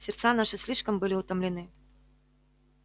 сердца наши слишком были утомлены